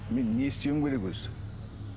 мен не істеуім керек өзі